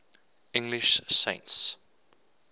english saints